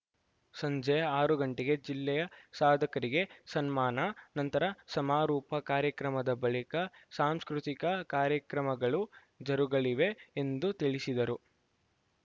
ಸಂಜೆ ಆರು ಗಂಟೆಗೆ ಜಿಲ್ಲೆಯ ಸಾಧಕರಿಗೆ ಸನ್ಮಾನ ನಂತರ ಸಮಾರೋಪ ಕಾರ್ಯಕ್ರಮದ ಬಳಿಕ ಸಾಂಸ್ಕೃತಿಕ ಕಾರ್ಯಕ್ರಮಗಳು ಜರುಗಲಿವೆ ಎಂದು ತಿಳಿಸಿದರು